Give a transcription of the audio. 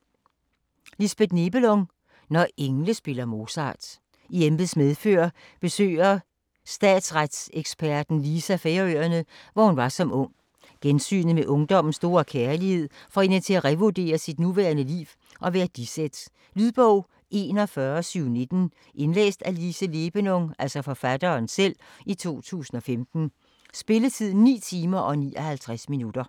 Nebelong, Lisbeth: Når engle spiller Mozart I embeds medfør besøger statsretseksperten Lisa Færøerne, hvor hun var som ung. Gensynet med ungdommens store kærlighed får hende til at revurdere sit nuværende liv og værdisæt. Lydbog 41719 Indlæst af Lisbeth Nebelong, 2015. Spilletid: 9 timer, 59 minutter.